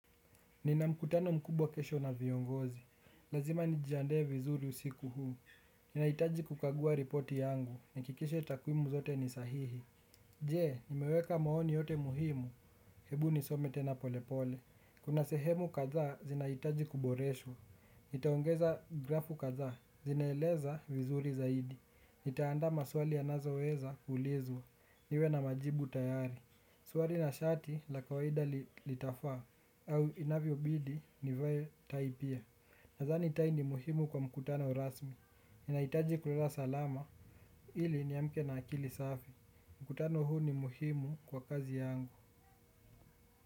Nina mkutano mkubwa kesho na viongozi, lazima nijijandae vizuri usiku huu. Nina hitaji kukagua ripoti yangu, nihakikishe takwimu zote ni sahihi. Jee, nimeweka maoni yote muhimu, hebu nisome tena polepole. Kuna sehemu kadhaa, zinahitaji kuboreshwa. Nitaongeza grafu kadhaa, zinaeleza vizuri zaidi. Nitaanda maswali anazoweza kuulizwa, niwe na majibu tayari. Suruali na shati la kawaida lita faa au inavyo bidi nivae tai pia. Nadhani tai ni muhimu kwa mkutano rasmi ninahitaji kulala salama ili niamke na akili safi mkutano huu ni muhimu kwa kazi yangu.